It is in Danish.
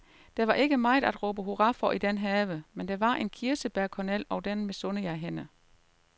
Der var ikke meget at råbe hurra for i den have, men der var en kirsebærkornel, og den misunder jeg hende.